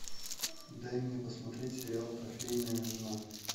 дай мне посмотреть сериал трофейная жена